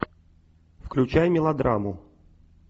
включай мелодраму